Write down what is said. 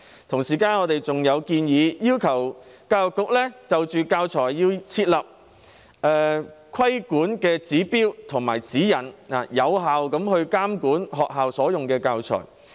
同時，我們還建議教育局就教材設立規管指標和指引，俾能有效監管學校採用的教材。